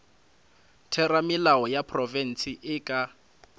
theramelao ya profense e ka